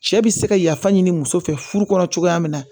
Cɛ bɛ se ka yafa ɲini muso fɛ furu kɔnɔ cogoya min na